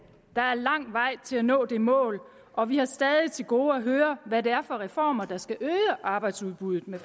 der er lang vej til at nå det mål og vi har stadig til gode at høre hvad det er for reformer der skal øge arbejdsudbuddet med